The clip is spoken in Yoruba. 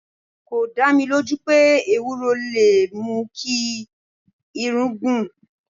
4. Kò dá mi lójú pé Ewúro lè mú kí irun gùn.